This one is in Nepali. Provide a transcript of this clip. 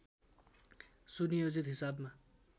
सुनियोजित हिसाबमा